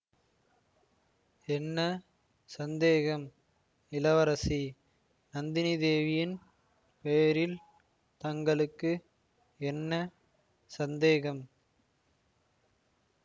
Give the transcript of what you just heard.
என்ன சந்தேகம் இளவரசி நந்தினிதேவியின் பேரில் தங்களுக்கு என்ன சந்தேகம்